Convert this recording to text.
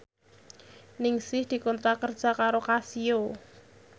Ningsih dikontrak kerja karo Casio